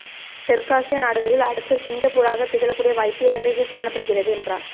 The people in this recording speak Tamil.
தெற்காசிய நாடுகளில் அடுத்த சிங்கப்பூராக திகழக்கூடிய வாய்ப்பு இலங்கைக்கு காணப்படுகிறது என்றார்